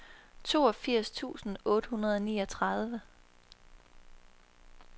toogfirs tusind otte hundrede og niogtredive